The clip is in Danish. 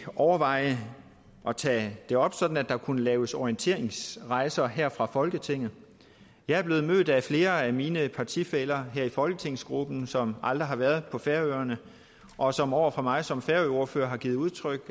overveje at tage det op sådan at der kunne laves orienteringsrejser her fra folketinget jeg er blevet mødt af flere af mine partifæller her i folketingsgruppen som aldrig har været på færøerne og som over for mig som færøordfører har givet udtryk